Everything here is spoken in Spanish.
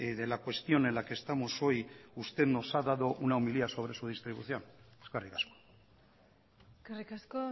de la cuestión en la que estamos hoy usted nos ha dado una homilía sobre su distribución eskerrik asko eskerrik asko